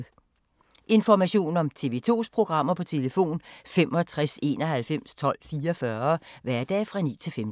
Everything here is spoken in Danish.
Information om TV 2's programmer: 65 91 12 44, hverdage 9-15.